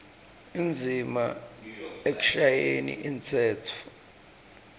indzima ekushayeni umtsetfo